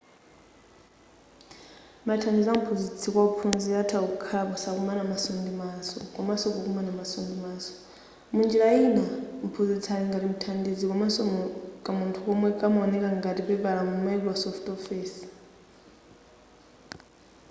mathandizo amphunzitsi kwa wophunzira atha kukhala posakomana maso ndi maso komaso pokomana maso ndi maso munjira ina mphunzitsi ali ngati mthandizi komaso kamunthu komwe kamaoneka ngati pepala mu microsoft office